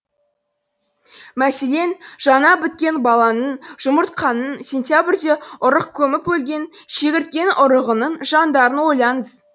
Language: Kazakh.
мәселен жаңа біткен баланың жұмыртқаның сентябрьде ұрық көміп өлген шегірткенің ұрығының жандарын ойлаңыз